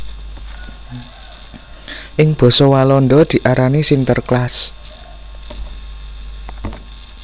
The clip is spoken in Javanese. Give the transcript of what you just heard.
Ing basa Walanda diarani Sinterklaas